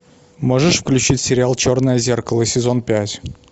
можешь включить сериал черное зеркало сезон пять